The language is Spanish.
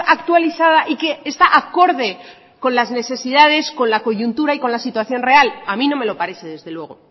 actualizada y que está acorde con las necesidades con la coyuntura y con la situación real a mí no me lo parece desde luego